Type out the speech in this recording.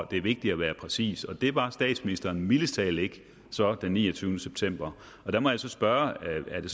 det vigtigt at være præcis og det var statsministeren så mildest talt ikke den niogtyvende september der må jeg så spørge er det